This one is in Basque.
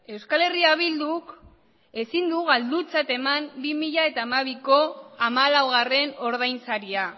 euskal herria bilduk ezin du galdutzat eman bi mila hamabiko hamalaugarren ordainsaria